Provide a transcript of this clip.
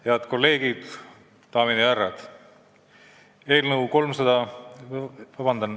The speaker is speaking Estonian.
Head kolleegid, daamid ja härrad!